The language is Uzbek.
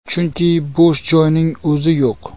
Chunki, bo‘sh joyning o‘zi yo‘q.